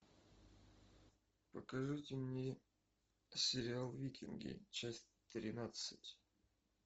покажите мне сериал викинги часть тринадцать